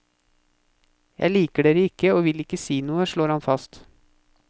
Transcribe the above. Jeg liker dere ikke og vil ikke si noe, slår han fast.